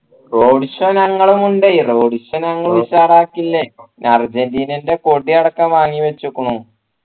road show ഞങ്ങളുമുണ്ട് road show ഞങ്ങൾ ഉഷാറാക്കിലെ അർജൻറീനയുടെ കൊടിയടക്കം വാങ്ങിച്ചു വെച്ചികുണു